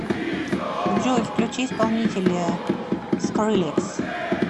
джой включи исполнителя скрилекс